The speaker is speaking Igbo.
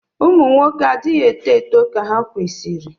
ụmụ nwoke anaghị eto eto ka ha kwesịrị